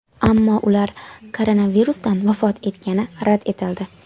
Ammo ular koronavirusdan vafot etgani rad etildi.